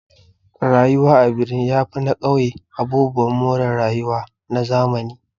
Rayuwa a birni yafi na ƙauye abubuwan more rayuwa na zamani